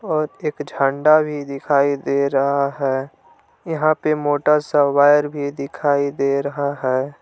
और एक झंडा भी दिखाई दे रहा है यहां पे मोटा सा वायर भी दिखाई दे रहा है।